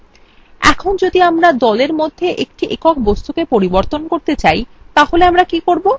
এখন যদি আমরা দলএর মধ্যে একটি একক বস্তুকে পরিবর্তন করতে চাই তাহলে আমরা কি করব